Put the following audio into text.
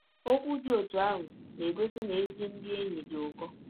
Ọkwụ dị ọtụ ahụ na - egọsi na ezi ndị enyi dị ụkọ.